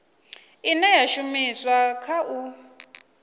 ine ya shumiswa kha u